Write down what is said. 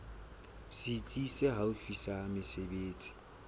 setsi se haufi sa mesebetsi